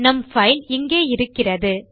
நம் பைல் இங்கே இருக்கிறது